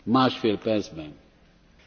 Vážené dámy a pánové.